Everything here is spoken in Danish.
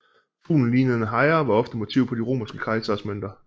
Fuglen lignede en hejre og var ofte motiv på de romerske kejseres mønter